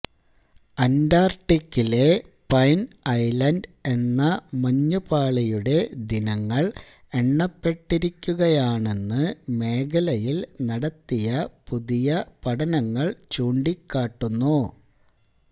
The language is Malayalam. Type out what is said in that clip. അന്റാര്ട്ടിക്കിലെ പൈന് ഐലന്ഡ് എന്ന മഞ്ഞുപാളിയുടെ ദിനങ്ങള് എണ്ണപ്പെട്ടിരിക്കുകയാണെന്ന് മേഖലയില് നടത്തിയ പുതിയ പഠനങ്ങള് ചൂണ്ടിക്കാട്ടുന്നു